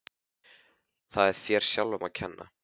Það er þér sjálfum að kenna.